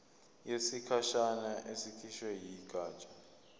yesikhashana ekhishwe yigatsha